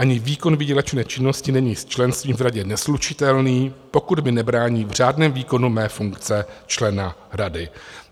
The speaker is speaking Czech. Ani výkon výdělečné činnosti není s členstvím v radě neslučitelný, pokud mi nebrání v řádném výkonu mé funkce člena rady.